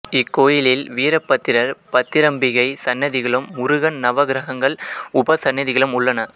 இக்கோயிலில் வீரபத்திரர் பத்திரம்பிகை சன்னதிகளும் முருகன் நவகிரகங்கள் உபசன்னதிகளும் உள்ளன